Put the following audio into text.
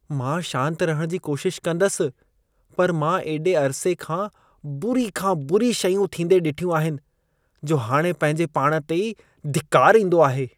मां शांत रहण जी कोशिश कंदसि, पर मां एॾे अरिसे खां बुरी खां बुरी शयूं थींदे ॾिठियूं आहिनि, जो हाणे पंहिंजी पाण ते ई धिकार ईंदो आहे।